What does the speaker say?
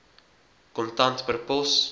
kontant per pos